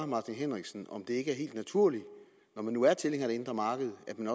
martin henriksen om det ikke er helt naturligt når man nu er tilhænger af det indre marked at man